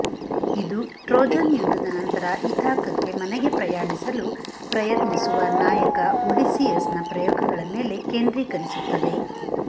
ಇದು ಟ್ರೋಜನ್ ಯುದ್ಧದ ನಂತರ ಇಥಾಕಕ್ಕೆ ಮನೆಗೆ ಪ್ರಯಾಣಿಸಲು ಪ್ರಯತ್ನಿಸುವ ನಾಯಕ ಒಡಿಸ್ಸಿಯಸ್ನ ಪ್ರಯೋಗಗಳ ಮೇಲೆ ಕೇಂದ್ರೀಕರಿಸುತ್ತದೆ